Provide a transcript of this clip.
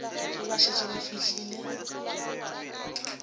ge ba šetše ba fihlile